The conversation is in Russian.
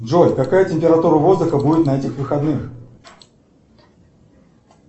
джой какая температура воздуха будет на этих выходных